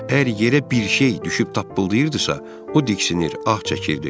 Əgər yerə bir şey düşüb tappıldayırdısa, o diksinir, ah çəkirdi.